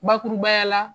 Bakurubaya la